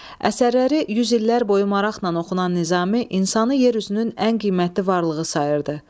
Əsərləri yüz illər boyu maraqla oxunan Nizami insanı yer üzünün ən qiymətli varlığı sayırdı.